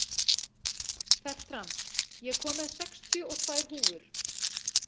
Fertram, ég kom með sextíu og tvær húfur!